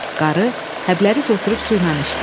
Qarı həbləri götürüb suyla içdi.